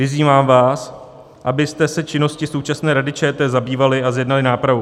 Vyzývám vás, abyste se činností současné Rady ČT zabývali a zjednali nápravu.